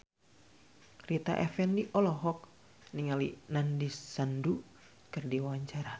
Rita Effendy olohok ningali Nandish Sandhu keur diwawancara